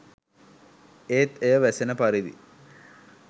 ඒත් එය වැසෙන පරිදි